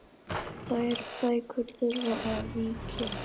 Þær bækur þurfa að víkja.